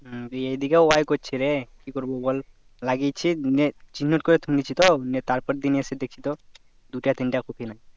হুম এই দিকেও বার করছে রে কি করবো বল লাগিয়েছি নিয়ে চিহ্নত করে তুলেছি তো নিয়ে তার পর দিন এসে দেখি তো দুটো তিনটা কপি নাই